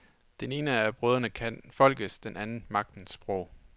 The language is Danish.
Den ene af brødrene kan folkets, den anden magtens sprog.